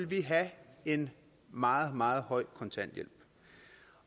vi have en meget meget høj kontanthjælp